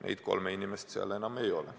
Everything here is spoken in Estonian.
Neid kolme inimest seal enam ei ole.